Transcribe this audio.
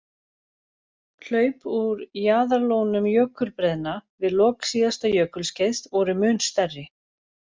Hlaup úr jaðarlónum jökulbreiðna við lok síðasta jökulskeiðs voru mun stærri.